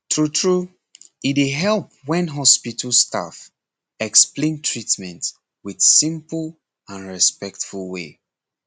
true true e dey help when hospital staff explain treatment with simple and respectful way